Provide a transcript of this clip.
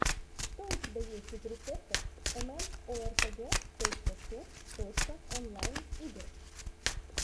что у тебя есть из рецептов эмэмоэрпэгэ точка су точка онлайн игр